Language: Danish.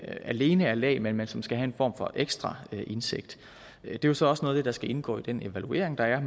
alene er lægmænd men som også skal have en form for ekstra indsigt det er jo så også noget af det der skal indgå i den evaluering der er